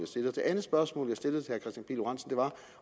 stillede det andet spørgsmål jeg stillede til lorentzen var